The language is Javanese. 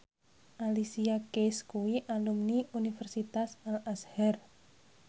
Alicia Keys kuwi alumni Universitas Al Azhar